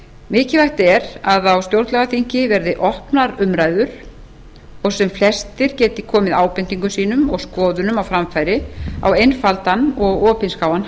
mikilvægt er að á stjórnlagaþingi verði opnar umræður og sem flestir geti komið ábendingum sínum og skoðunum á framfæri á einfaldan og opinskáan